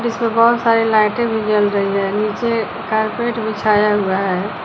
इसमे बहुत सारी लाइटें भी जल रही है नीचे कारपेट बिछाया हुआ है।